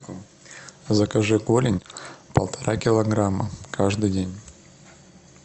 закажи голень полтора килограмма каждый день